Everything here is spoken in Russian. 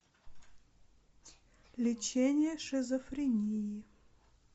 лечение шизофрении